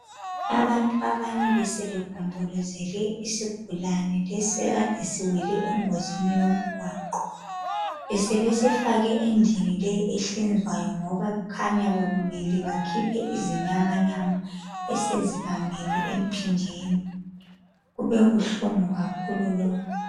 Abantu abanye besebegombolozele isigulane lesi ekade siwele engozini yomgwaqo. Besebesifake endlini leyi ehlinzwayo ngoba kukhanya bekumele bakhiphe izinyamanyama esezibambene empinjeni. Kubebuhlungu kakhulu lokhu.